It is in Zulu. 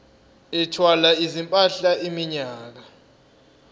ethwala izimpahla iminyaka